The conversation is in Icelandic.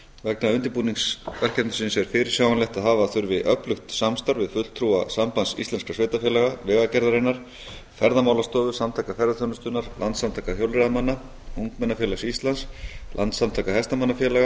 vegna undirbúnings verkefnisins er fyrirsjáanlegt að hafa þurfi öflugt samstarf við fulltrúa sambands íslenskra sveitarfélaga vegagerðarinnar ferðamálastofu samtaka ferðaþjónustunnar landssamtaka hjólreiðamanna ungmennafélags íslands landssamtaka hestamannafélaga